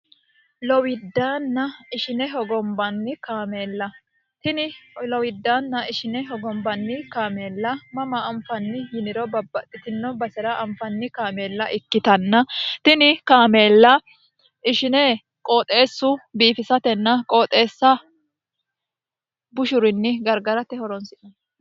Lowidana ishine hogonbanni kaamella kaameella tini lowidaanna ishine hogombanni kaameella mama anfanni yiniro babbaxxitino base'ra anfanni kaameella ikkitanna tini kaameella ishine qooxeessu biifisatenna qooxeessa bushurinni gargarate horonsi'no...